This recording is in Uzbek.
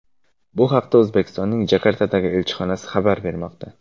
Bu haqda O‘zbekistonning Jakartadagi elchixonasi xabar bermoqda.